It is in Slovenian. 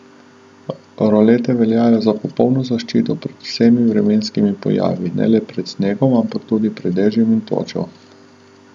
Rolete veljajo za popolno zaščito pred vsemi vremenskimi pojavi, ne le pred snegom, ampak tudi pred dežjem in točo.